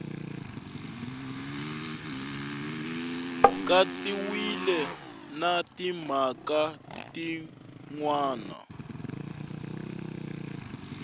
katsiwile na timhaka tin wana